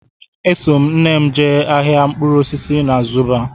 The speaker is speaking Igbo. Eso m nne m jee ahịa mkpụrụ osisi na Zuba